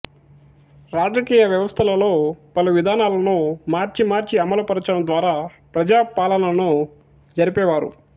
రాజకీయ వ్యవస్థలలో పలు విధానాలను మార్చి మార్చి అమలు పరచడం ద్వారా ప్రజాపాలనను జరిపేవారు